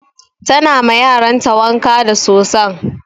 Ta na ma yaran ta wanka da soson.